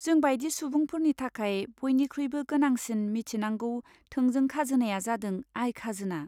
जों बायदि सुबुंफोरनि थाखाय, बयनिख्रुइबो गोनांसिन मिथिनांगौ थोंजों खाजोनाया जादों आय खाजोना।